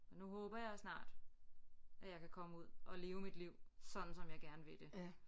Men nu håber jeg snart at jeg kan komme ud og leve mit liv sådan som jeg gerne vil det